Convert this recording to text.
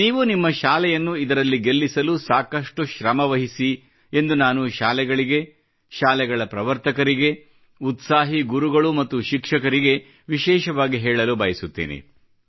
ನೀವು ನಿಮ್ಮ ಶಾಲೆಯನ್ನು ಇದರಲ್ಲಿ ಗೆಲ್ಲಿಸಲು ಸಾಕಷ್ಟು ಶ್ರಮ ವಹಿಸಿ ಎಂದು ನಾನು ಶಾಲೆಗಳಿಗೆ ಶಾಲೆಗಳ ಪ್ರವರ್ತಕರಿಗೆ ಉತ್ಸಾಹಿ ಗುರುಗಳು ಮತ್ತು ಶಿಕ್ಷಕರಿಗೆ ವಿಶೇಷವಾಗಿ ಹೇಳಲು ಬಯಸುತ್ತೇನೆ